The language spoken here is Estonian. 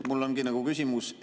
Mul ongi küsimus.